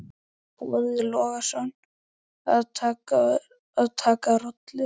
Boði Logason: Að taka rollur?